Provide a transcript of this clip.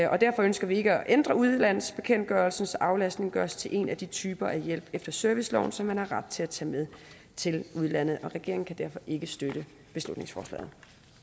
og derfor ønsker vi ikke at ændre udlandsbekendtgørelsen så aflastning gøres til en af de typer af hjælp efter serviceloven som man har ret til at tage med til udlandet så regeringen kan derfor ikke støtte beslutningsforslaget